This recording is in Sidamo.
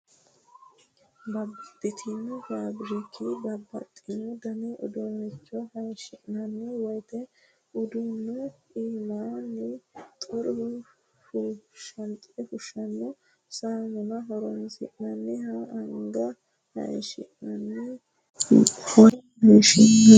Babbaxxino faabirikkini babbaxxino dani uduuncho hayishi'nanni woyte uduunu iiminni xure fushshano saamunna horonsi'nanniha anga hayishi'nanniha hattono biso hayishi'nanniha loonse qiixxeesinannati la'nanihu.